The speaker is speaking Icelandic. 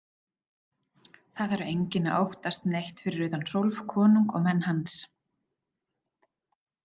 Það þarf enginn að óttast neitt fyrir utan Hrólf konung og menn hans.